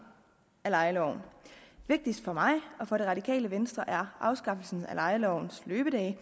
af lejeloven vigtigst for mig og for det radikale venstre er afskaffelsen af lejelovens løbedage